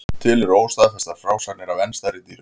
Til eru óstaðfestar frásagnir af enn stærri dýrum.